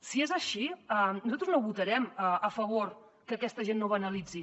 si és així nosaltres no votarem a favor que aquesta gent no banalitzi